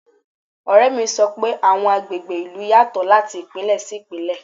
Ọ̀rẹ́ mi sọ pé àwọn agbègbè ìlú yàtọ̀ láti Ìpínlẹ̀ sí Ìpínlẹ̀.